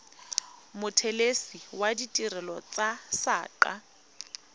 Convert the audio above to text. mothelesi wa ditirelo tsa saqa